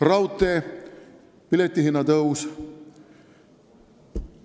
Raudteepileti hinna tõus.